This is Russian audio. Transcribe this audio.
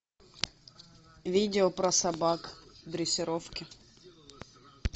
видео про собак дрессировки